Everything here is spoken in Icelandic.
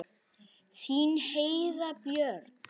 Þín Heiða Björg.